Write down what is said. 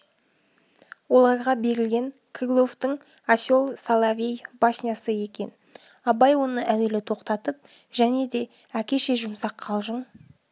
оларға берілгені крыловтың осел соловей баснясы екен абай оны әуелі тоқтатып және де әкеше жұмсақ қалжың